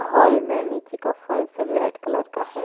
Hall में नीचे का फर्स रेड कलर का है।